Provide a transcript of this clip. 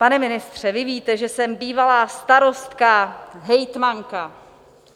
Pane ministře, vy víte, že jsem bývalá starostka, hejtmanka.